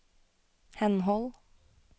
henhold